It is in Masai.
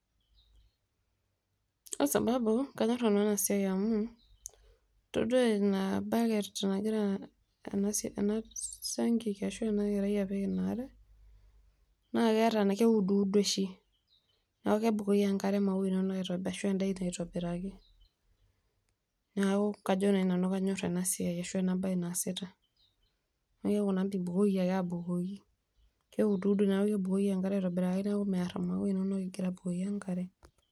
Kwasabau kanyor nanu enasiai amu toduo ilo baket nagira enasiankiki ashu enakerai apik inaare, naa keuduudo oshi neaku kegira aibukoi enkare neaku peitobiraki, neaku kajo nai kanyor enabae ashu enasiai naasitae, abukoki naa abukoki neuduu na neakuvkebukoki enkare naa aitobiraki metaa mear maua inonok ingira abukoki enkare.